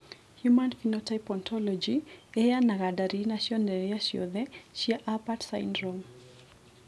Human Phenotype Ontology ĩheanaga ndariri na cionereria ciothe cia Apert syndrome.